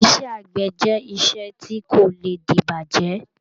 Iṣẹ́ àgbẹ̀ jẹ́ iṣẹ́ tí kò lè dibajẹ.